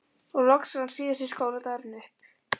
Og loks rann síðasti skóladagurinn upp.